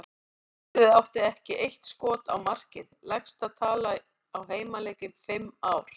Liðið átti eitt skot á markið, lægsta tala á heimaleik í fimm ár.